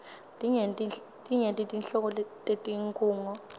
tinyenti nhlobo tetinkhunga